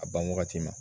A ban wagati ma